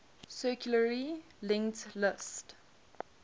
circularly linked list